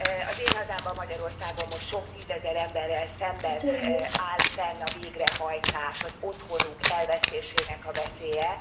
Az én hazámban, Magyarországon most sok tízezer emberrel szemben áll fenn a végrehajtás, az otthonuk elvesztésének a veszélye.